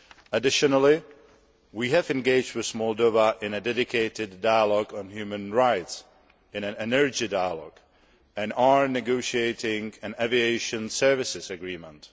Additionally, we have engaged with Moldova in a dedicated Dialogue on Human Rights and in an energy dialogue, and are negotiating an aviation services agreement.